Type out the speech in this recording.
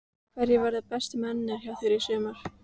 Hverjir verða bestu mennirnir hjá þér í sumar?